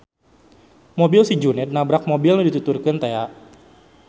Mobil si Juned nabrak mobil nu dituturkeun tea.